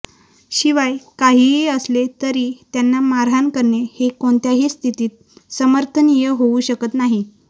शिवाय काहीही असले तरी त्यांना मारहाण करणे हे कोणत्याही स्थितीत समर्थनीय होऊ शकत नाही